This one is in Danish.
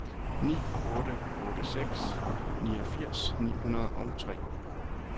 ni otte otte seks niogfirs ni hundrede og tre